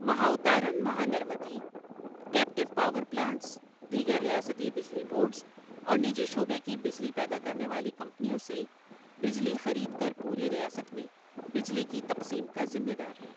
Mahavitaran Mahanirmiti, captive power plants, دیگر ریاستی بجلی بورڈز، اور نجی شعبے کی بجلی پیدا کرنے والی کمپنیوں سے بجلی خرید کر پوری ریاست میں بجلی کی تقسیم کا ذمہ دار ہے۔